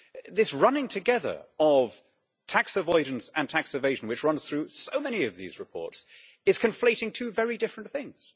This running together of tax avoidance and tax evasion, which runs through so many of these reports, is conflating two very different things.